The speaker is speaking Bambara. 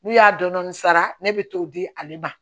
N'u y'a dɔɔnin sara ne bɛ t'o di ale ma